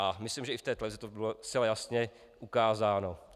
A myslím, že i v té televizi to bylo zcela jasně ukázáno.